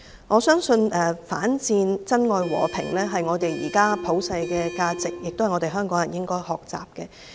我相信反戰、珍愛和平是現時的普世價值，也是香港人應該學習的。